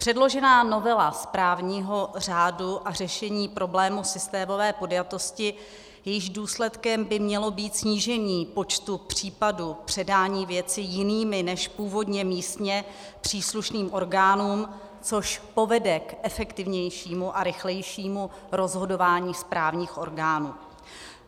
Předložená novela správního řádu a řešení problému systémové podjatosti, jejímž důsledkem by mělo být snížení počtu případů předání věci jiným než původně místně příslušným orgánům, což povede k efektivnějšímu a rychlejšímu rozhodování správních orgánů.